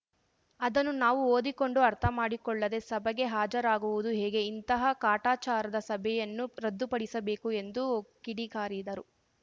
ಅದನ್ನು ನಾವು ಓದಿಕೊಂಡು ಅರ್ಥಮಾಡಿಕೊಳ್ಳದೆ ಸಭೆಗೆ ಹಾಜರಾಗುವುದು ಹೇಗೆ ಇಂತಹ ಕಾಟಾಚಾರದ ಸಭೆಯನ್ನು ರದ್ದುಪಡಿಸಬೇಕು ಎಂದು ಕಿಡಿಕಾರಿದರು